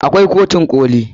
Akwai kotun koli.